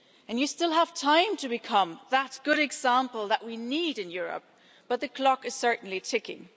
You still have time to become that good example that we need in Europe, but the clock is certainly ticking.